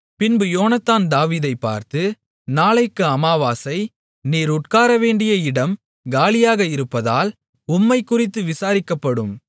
பின்பு யோனத்தான் தாவீதைப் பார்த்து நாளைக்கு அமாவாசை நீர் உட்காரவேண்டிய இடம் காலியாக இருப்பதால் உம்மைக்குறித்து விசாரிக்கப்படும்